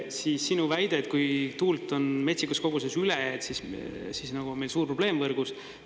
Siis sinu väide, et kui tuult on metsikus koguses üle, siis nagu on meil suur probleem võrgus.